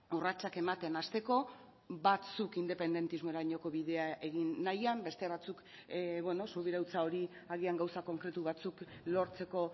urratsak ematen hasteko batzuk independentismorainoko bidea egin nahian beste batzuk beno subirautza hori agian gauza konkretu batzuk lortzeko